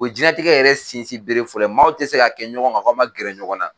O ye jɛnnatigɛ yɛrɛ sinsinbere fɔlɔ ye maaw tɛ se ka kɛ ɲɔgɔn kan k'a ma gɛrɛ ɲɔgɔn na.